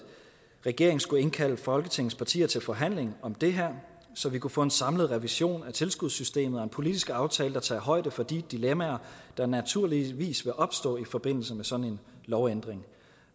regeringen skulle indkalde folketingets partier til forhandling om det her så vi kunne få en samlet revision af tilskudssystemet og en politisk aftale der tager højde for de dilemmaer der naturligvis vil opstå i forbindelse med sådan en lovændring